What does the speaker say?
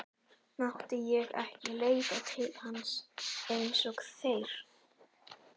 Mátti ég ekki leita til hans eins og þeir?